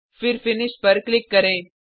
फिर फिनिश पर क्लिक करें